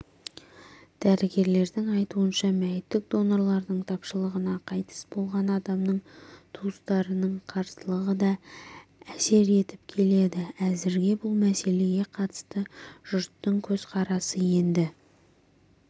дәрігерлердің айтуынша мәйіттік донорлардың тапшылығына қайтыс болған адамның туыстарының қарсылығы да әсер етіп келеді әзірге бұл мәселеге қатысты жұрттың көзқарасы енді